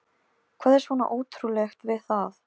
Hvað er svona ótrúlegt við það?